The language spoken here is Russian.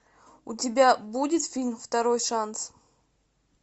у тебя будет фильм второй шанс